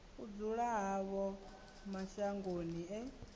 u dzula havho mashangoni e